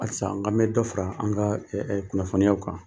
Halisa n k'an bi dɔ fara an ka kunnafoniyaw kan.